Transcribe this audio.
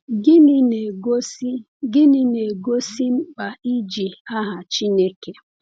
Gịnị na-egosi Gịnị na-egosi mkpa iji aha Chineke?